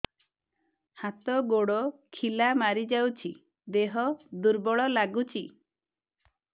ହାତ ଗୋଡ ଖିଲା ମାରିଯାଉଛି ଦେହ ଦୁର୍ବଳ ଲାଗୁଚି